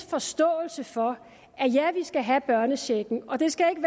forståelse for at ja vi skal have børnechecken og det skal ikke